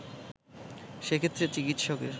সেক্ষেত্রে চিকিৎসকের